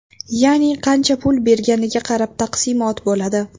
Ya’ni qancha pul berganiga qarab taqsimot bo‘ladi .